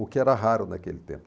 O que era raro naquele tempo.